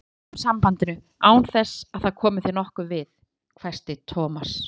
Við slitum sambandinu, án þess að það komi þér nokkuð við, hvæsti Thomas.